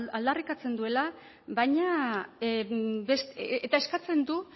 aldarrikatzen duela baina eta eskatzen du